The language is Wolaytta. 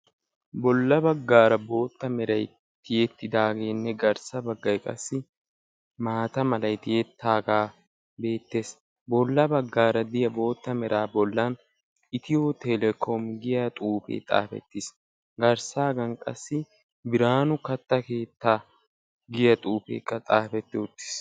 Bolla baggaara boottaa meray tiyettidagene garssa baggaay qassi maataa meray tiyetage beettees. Bolla baggaara de'iyaa boottaa meray itiyo telekom giya xuufe xaafettiis. Garssagan qassibiranu katta keettaa giyaa xuufekaa xaafettiis.